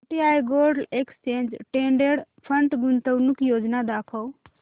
UTI gold exchange traded fund गुंतवणूक योजना दाखव